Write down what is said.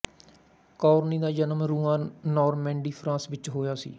Corneille ਦਾ ਜਨਮ Rouen Normandy France ਵਿੱਚ ਹੋਇਆ ਸੀ